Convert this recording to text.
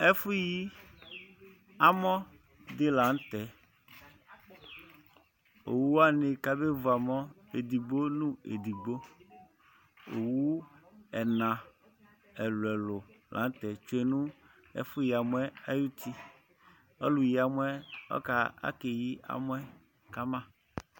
Ɛfʋyi amɔ dɩ la nʋ tɛ. Owu wanɩ kabevu amɔ edigbo nʋ edigbo. Owu ɛna ɛlʋ-ɛlʋ la nʋ tɛ tsue nʋ ɛfʋyi amɔ yɛ ayuti. Ɔlʋyi amɔ yɛ ɔka akeyi amɔ yɛ ka ma.